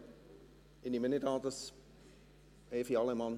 Evi Allemann, ich nehme nicht an, dass Sie etwas dazu sagen möchten.